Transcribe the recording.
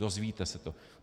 Dozvíte se to.